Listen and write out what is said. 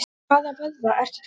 Hvaða vöðva ertu að tala um?